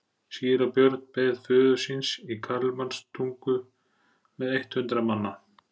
Síra Björn beið föður síns í Kalmanstungu með eitt hundrað manna.